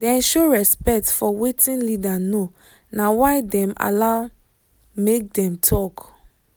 dem show respect for wetin leader know na why dem allow make dem talk